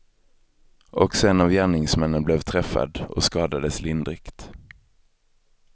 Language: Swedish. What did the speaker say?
Också en av gärningsmännen blev träffad, och skadades lindrigt.